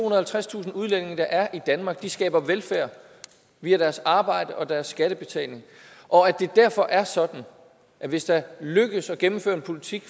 og halvtredstusind udlændinge der er i danmark skaber velfærd via deres arbejde og deres skattebetaling og at det derfor er sådan at hvis det lykkes at gennemføre en politik